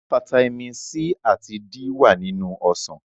Fataímìn C àti D wà nínú ọsàn.